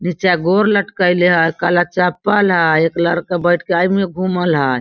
नीचा गौर लटकाएले हई काला चप्पल हई एक लड़का बइठ के एमें घूमल हई।